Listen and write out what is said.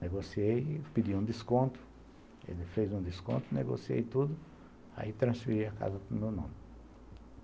Negociei, pedi um desconto, ele fez um desconto, negociei tudo, aí transferi a casa para o meu nome.